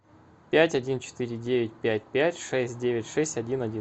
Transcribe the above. пять один четыре девять пять пять шесть девять шесть один один